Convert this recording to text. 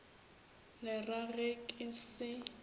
le ra ge ke se